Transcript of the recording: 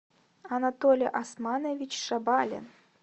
анатолий османович шабалин